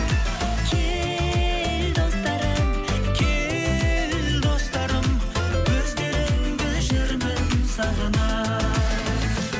кел достарым кел достарым өздеріңді жүрмін сағына